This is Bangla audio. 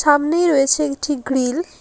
সামনেই রয়েছে একটি গ্রিল ।